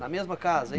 Na mesma casa? É